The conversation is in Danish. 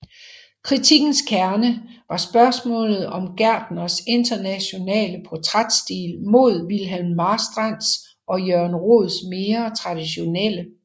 Kritikkens kerne var spørgsmålet om Gertners internationale portrætstil mod Wilhelm Marstrands og Jørgen Roeds mere traditionelle